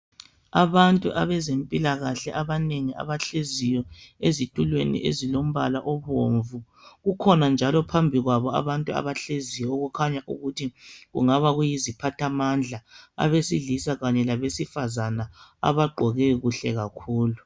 Abantu abezempilakahle abanengi abahleziyo ezitulweni ezilombala obomvu kukhona njalo phambi kwabo abantu abahleziyo okukhanya ukuthi kungaba kuyi ziphathamandla abesilisa kanye labesifazana abagqoke kuhle kakhulu.